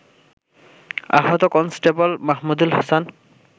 আহত কন্সটেবল মাহমুদুল হাছান